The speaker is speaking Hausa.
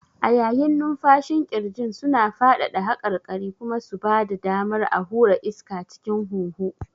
A yayin numfashin ƙirjin suna faɗaɗa haƙarƙarin kuma su ba da damar a hura iska cikin huhu.